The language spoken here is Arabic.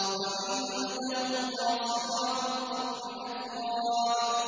۞ وَعِندَهُمْ قَاصِرَاتُ الطَّرْفِ أَتْرَابٌ